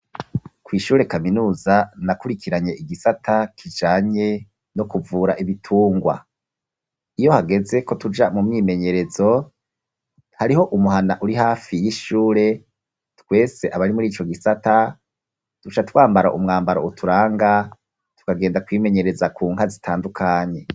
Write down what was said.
Kw'ishure kaminuza nakurikiranye igisata kijanye no kuvura ibitungwa iyo hageze ko tuja mu mwimenyerezo hariho umuhana uri hafi y'ishure twese abari muri ico gisata duca twambara umwambaro uturanga tukagenda kwimenyereza ku nka zitaa dukanyi.